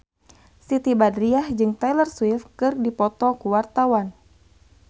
Siti Badriah jeung Taylor Swift keur dipoto ku wartawan